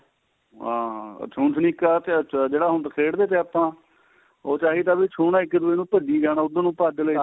ਆ ਅੱਛਾ ਛੂ ਛਲੀਕਾ ਤੇ ਜਿਹੜਾ ਹੁਣ ਖੇਡਦੇ ਥੇ ਆਪਾਂ ਉਹ ਚਾਹੀਦਾ ਵੀ ਛੂਣਾ ਇੱਕ ਦੂਜੇ ਨੂੰ ਭਜੀ ਜਾਣਾ ਉੱਧਰ ਨੂੰ ਭੱਜ ਲੈ ਇੱਧਰ